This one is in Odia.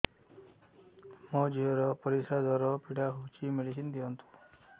ମୋ ଝିଅ ର ପରିସ୍ରା ଦ୍ଵାର ପୀଡା ହଉଚି ମେଡିସିନ ଦିଅନ୍ତୁ